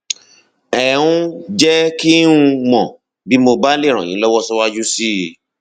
ẹ um jẹ kí um n mọ bí mo bá lè ràn yín lọwọ síwájú sí i